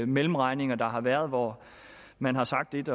mellemregninger der har været hvor man har sagt et